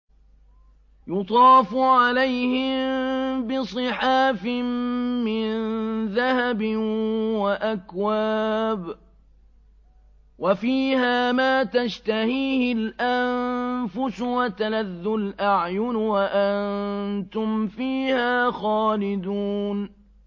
يُطَافُ عَلَيْهِم بِصِحَافٍ مِّن ذَهَبٍ وَأَكْوَابٍ ۖ وَفِيهَا مَا تَشْتَهِيهِ الْأَنفُسُ وَتَلَذُّ الْأَعْيُنُ ۖ وَأَنتُمْ فِيهَا خَالِدُونَ